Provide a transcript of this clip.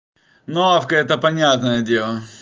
новка это понятное дело